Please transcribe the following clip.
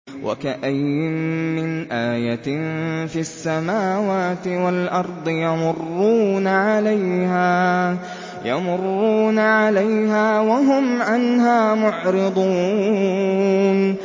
وَكَأَيِّن مِّنْ آيَةٍ فِي السَّمَاوَاتِ وَالْأَرْضِ يَمُرُّونَ عَلَيْهَا وَهُمْ عَنْهَا مُعْرِضُونَ